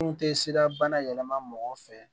Mun tɛ sira bana yɛlɛma mɔgɔw fɛ